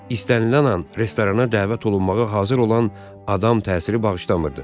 İstənilən an restorana dəvət olunmağa hazır olan adam təsiri bağışlamırdı.